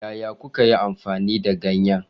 Yaya kuka yi amfani da ganye?